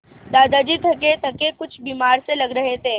दादाजी थकेथके कुछ बीमार से लग रहे थे